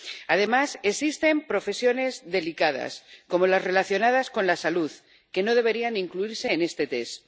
Además, existen profesiones delicadas, como las relacionadas con la salud, que no deberían incluirse en este test.